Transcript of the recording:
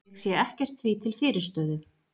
Ég sé ekkert því til fyrirstöðu.